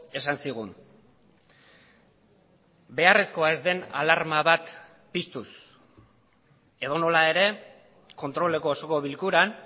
esan zigun beharrezkoa ez den alarma bat piztuz edonola ere kontroleko osoko bilkuran